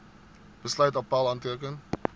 besluit appèl aanteken